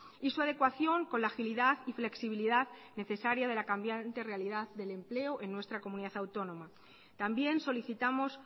y su adecuación con la agilidad y flexibilidad necesaria de la cambiante realidad del empleo en nuestra comunidad autónoma también solicitamos